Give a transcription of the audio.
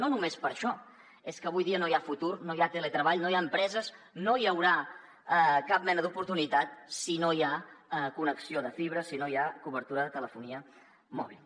no només per això és que avui dia no hi ha futur no hi ha teletreball no hi ha empreses no hi haurà cap mena d’oportunitat si no hi ha connexió de fibra si no hi ha cobertura de telefonia mòbil